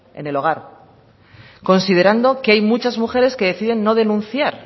en el hogar considerando que hay muchas mujeres que deciden no denunciar